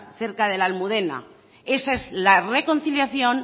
cerca de la almudena esa es la reconciliación